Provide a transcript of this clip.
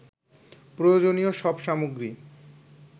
প্রয়োজনীয় সব সামগ্রী